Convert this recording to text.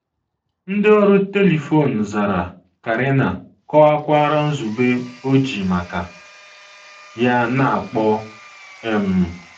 ndi ọrụ telifon zara, Karina kọwakwara nzube o ji maka ya na - akpọ. um